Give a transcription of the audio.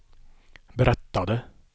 berättade